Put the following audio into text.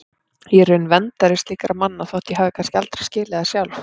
Ég er í raun verndari slíkra manna þótt ég hafi kannski aldrei skilið það sjálf.